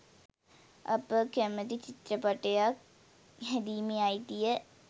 අප කැමැති චිත්‍රපයටක් හැදීමේ අයිතිය .